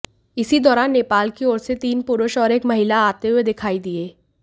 इसी दौरान नेपाल की ओर से तीन पुरुष और एक महिला आते हुए दिखाई दिए